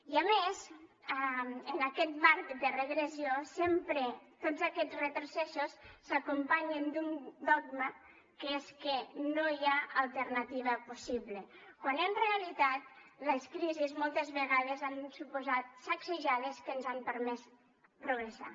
i a més en aquest marc de regressió sempre tots aquests retrocessos s’acompanyen d’un dogma que és que no hi ha alternativa possible quan en realitat les crisis moltes vegades han suposat sacsejades que ens han permès progressar